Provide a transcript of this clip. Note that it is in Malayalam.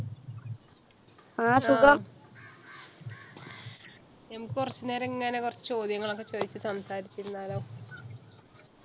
ഞമ്മക്കുറച്ചു നേരം ഇ~ങ്ങനെ കുറച്ചു ചോദ്യങ്ങൾ ഒക്കെ ചോദിച്ച് സംസാരിച്ച് ഇരുന്നാലോ?